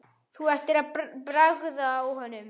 Þú ættir að bragða á honum